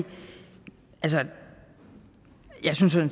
jeg sådan